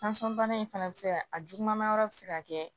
Tansɔn bana in fana bɛ se ka a juguman yɔrɔ bɛ se ka kɛ